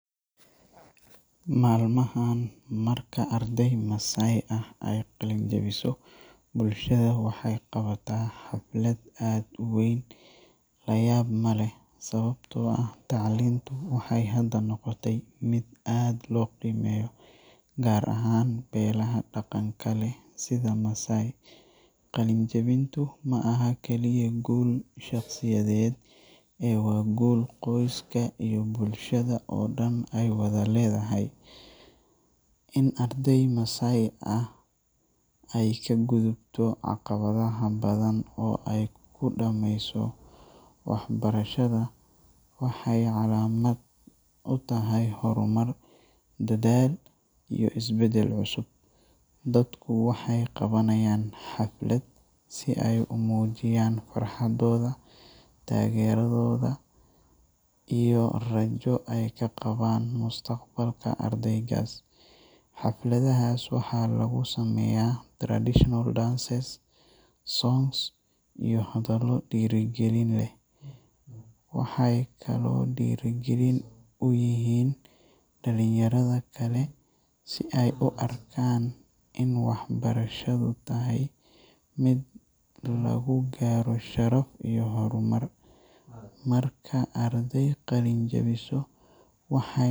Maalmahan, marka arday Maasai ah ay qalin-jabiso, bulshada waxay qabataa xaflad aad u weyn. La yaab ma leh, sababtoo ah tacliintu waxay hadda noqotay mid aad loo qiimeeyo, gaar ahaan beelaha dhaqanka leh sida Maasai. Qalin-jabintu ma aha kaliya guul shaqsiyadeed ee waa guul qoyska iyo bulshada oo dhan ay wada leedahay. In arday Maasai ah ay ka gudubto caqabadaha badan oo ay ku dhammayso waxbarashada waxay calaamad u tahay horumar, dadaal, iyo isbeddel cusub. Dadku waxay qabanayaan xaflad si ay u muujiyaan farxadooda, taageeradooda, iyo rajo ay ka qabaan mustaqbalka ardaygaas. Xafladahaas waxaa lagu sameeyaa traditional dances, songs, iyo hadallo dhiirrigelin leh. Waxay kaloo dhiirrigelin u yihiin dhalinyarada kale si ay u arkaan in waxbarashadu tahay jid lagu gaaro sharaf iyo horumar. Marka arday qalin-jabiso, waxay .